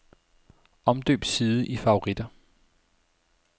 Omdøb side i favoritter.